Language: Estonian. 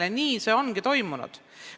Ja nii ongi siiani olnud.